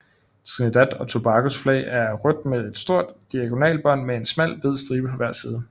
Trinidad og Tobagos flag er rødt med et sort diagonalbånd med en smal hvid stibe på hver side